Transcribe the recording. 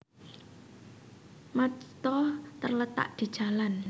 Majta terletak di Jalan